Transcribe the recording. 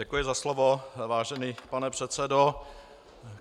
Děkuji za slovo, vážený pane předsedo.